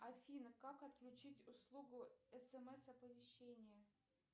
афина как отключить услугу смс оповещения